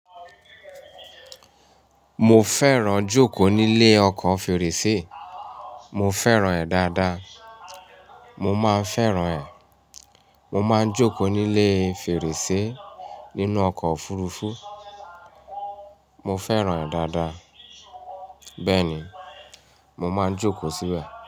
Mo fẹ́ràn jókòó nílé ọkọ̀ fèrèsé. Mo fẹ́ràn ẹ́ dáadáa. Mo máa fẹ́ràn ẹ́. Mo máa jókòó nílé fèrèsé nínú ọkọ̀ òfurufú. Mo fẹ́ràn ẹ́ dáadáa. Bẹ́ẹ̀ ni, mo máa jókòó síbẹ̀